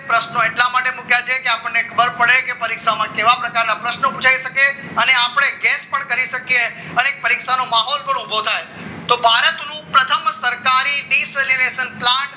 પ્રશ્નો એટલા માટે મૂક્યા છે કે આપણને ખબર પડે કે કે પરીક્ષામાં કેવા પ્રકારના પ્રશ્નો પુછાય શકે અને આપને ગેસ પણ કરી શકીએ અને પરીક્ષાનો માહોલ પણ ઉભો થાય તો ભારતનું પ્રથમ સરકારી descliration plant